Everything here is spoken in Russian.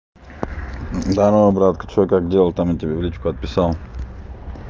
здорово братка что как дела там у тебя в личку отписал